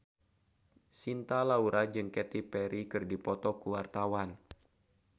Cinta Laura jeung Katy Perry keur dipoto ku wartawan